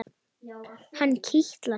Það kitlar mig.